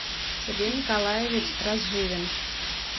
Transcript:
сергей николаевич разживин